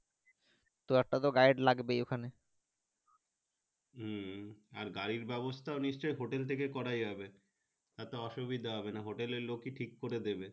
তো একটা তো gride লাগবে ওখানে হম আর gride ব্যাবস্তা নিশ্চয় hotel থেকে করা যাবে এত অসুবিধা হবে না Hotel টিক করে দিবে।